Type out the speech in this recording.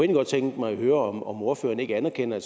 godt tænke mig at høre om om ordføreren ikke anerkender at